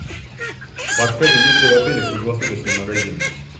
подскажи есть ли в отеле круглосуточный магазин